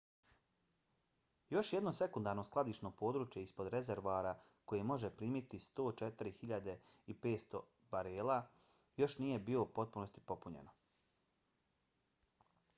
još jedno sekundarno skladišno područje ispod rezervoara koje može primiti 104.500 barela još nije bilo u potpunosti popunjeno